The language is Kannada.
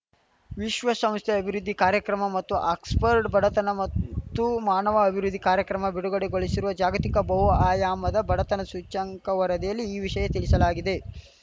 ವಿಶ್ವಶಂಸ್ಥೆಯ ಅಭಿವೃದ್ಧಿ ಕಾರ್ಯಕ್ರಮ ಮತ್ತು ಆಕ್ಸ್‌ಫರ್ಡ್‌ ಬಡತನ ಮತ್ತು ಮಾನವ ಅಭಿವೃದ್ಧಿ ಕಾರ್ಯಕ್ರಮ ಬಿಡುಗಡೆಗೊಳಿಶಿರುವ ಜಾಗತಿಕ ಬಹುಆಯಾಮದ ಬಡತನ ಸೂಚ್ಯಂಕ ವರದಿಯಲ್ಲಿ ಈ ವಿಷಯ ತಿಳಿಸಲಾಗಿದೆ